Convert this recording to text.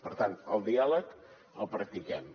per tant el diàleg el practiquem